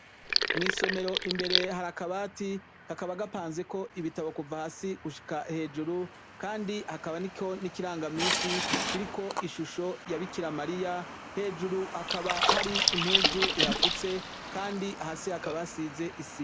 Mw'isomero imbere hari akabati, kakaba gapanzeko ibitabo kuva hasi gushika hejuru kandi hakaba n'ikiranga misi kiriko ishusho ya Bikira Mariya, hejuru hakaba hari impuzu ihafutse kandi hasi hakaba hasize isima.